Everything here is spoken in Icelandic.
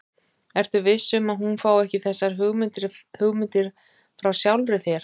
Ertu viss um, að hún fái ekki þessar hugmyndir frá sjálfri þér?